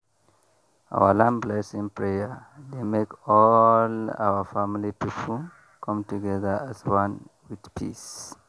our land blessing prayer dey make all our family people come together as one with peace.